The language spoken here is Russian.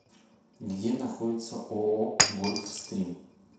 где находится ооо гольфстрим